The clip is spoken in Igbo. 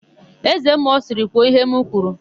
Ézēmmụọ sịrị, "kwuo íhé m kwuru"!